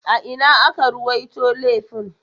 A ina aka ruwaito laifin?